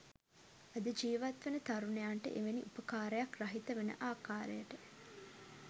අද ජීවත්වන තරුණයන්ට එවැනි උපකාරයක් රහිත වන ආකාරයට